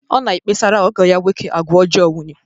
Ọ na-ekpesara ọgọ ya nwoke agwa ọjọọ nwunye.